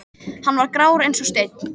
Hann var grár eins og steinn.